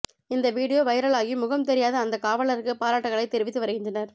இந்த வீடியோ வைரலாகி முகம் தெரியாத அந்த காவலருக்கு பாராட்டுக்களை தெரிவித்து வருகின்றனர்